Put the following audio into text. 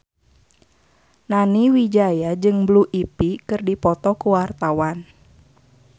Nani Wijaya jeung Blue Ivy keur dipoto ku wartawan